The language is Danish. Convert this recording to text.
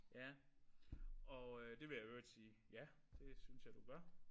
Ja og øh det vil jeg i øvrigt sige ja det synes jeg du gør